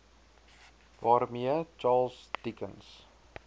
waarmee charles dickens